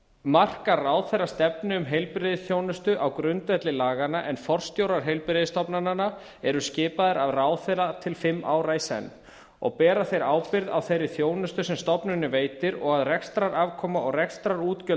markar ráðherra stefnu um heilbrigðisþjónustu á grundvelli laganna en forstjórar heilbrigðisstofnananna eru skipaðir af ráðherra til fimm ára í senn og bera þeir ábyrgð á þeirri þjónustu sem stofnunin veitir og að rekstrarafkoma og rekstrarútgjöld